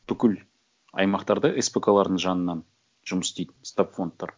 бүкіл аймақтарда спк лардың жанынан жұмыс істейді стабфондтар